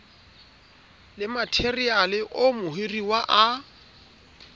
le matheriale oo mohiruwa a